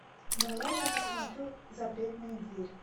давай я посмотрю запретная дверь